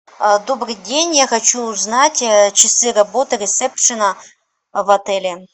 добрый день я хочу узнать часы работы ресепшена в отеле